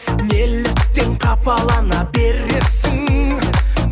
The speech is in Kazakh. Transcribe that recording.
неліктен қапалана бересің